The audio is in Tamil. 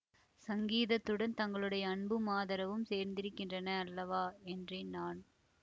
சங்கீதத்துடன் தங்களுடைய அன்பும் ஆதரவும் சேர்ந்திருக்கின்றன அல்லவா என்றேன் நான்